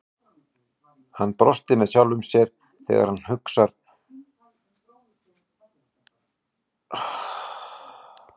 Hann brosti með sjálfum sér þegar þessar hugsanir streymdu um kollinn á honum.